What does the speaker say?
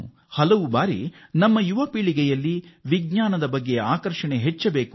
ಅದೇನೆಂದರೆ ನಮ್ಮ ಯುವ ಜನರಲ್ಲಿ ವಿಜ್ಞಾನದ ಆಕರ್ಷಣೆ ಹೆಚ್ಚಾಗಬೇಕು